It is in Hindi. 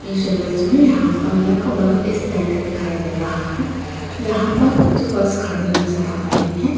इस इमेज में यहाँ पर एक बस स्टैंड दिखाई दे रहा है जहाँ पर कुछ बस खड़ी नजर आ रही हैं।